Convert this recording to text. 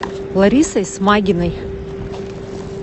ларисой смагиной